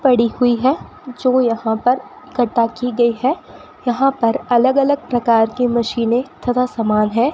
पड़ी हुई है जो यहां पर इक्कठा की गयी है यहां पर अलग अलग प्रकार के मशीनें तथा समान है।